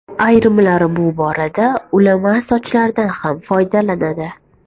Ayrimlar bu borada ulama sochlardan ham foydalanadi.